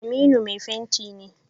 Aminu mai fenti ne.